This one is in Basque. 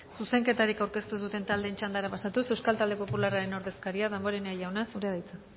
zuzenketarik aurkeztu ez duten taldeen txandara pasatuz euskal talde popularraren ordezkaria damborenea jauna zurea da hitza